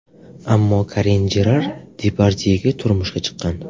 Ammo Karin Jerar Depardyega turmushga chiqqan.